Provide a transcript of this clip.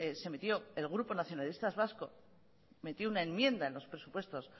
se metió el grupo nacionalistas vascos metió una enmienda en los presupuestos